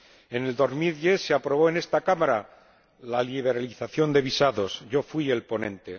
en 2010, se aprobó en esta Cámara la liberalización de visados ―yo fui el ponente―.